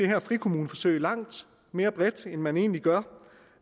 her frikommuneforsøg langt mere bredt end man egentlig gør